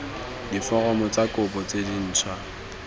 diforomo tsa kopo tse dintšhwa